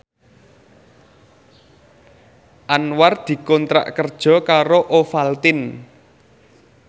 Anwar dikontrak kerja karo Ovaltine